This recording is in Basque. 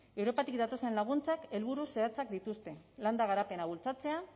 europatik datozen laguntzek helburu zehatzak dituzte landa garapena bultzatzea